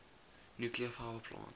nuclear power plant